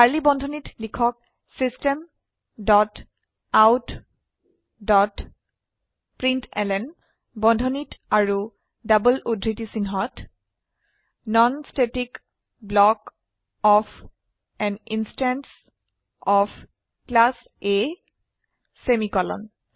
curly বন্ধনীত লিখক system dot out dot println বন্ধনী আৰু ডবল উদ্ধৃতি চিনহত non static block of an instance of class A semicolon